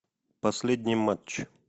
последний матч